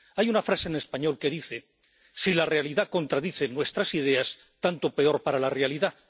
Hay una frase en español que dice Si la realidad contradice nuestras ideas, tanto peor para la realidad.